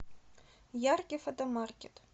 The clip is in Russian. яркий фотомаркет